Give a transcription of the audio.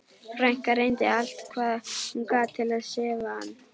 Frænka reyndi allt hvað hún gat til að sefa hann.